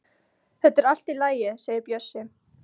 Þetta er allt í lagi segir Bjössi.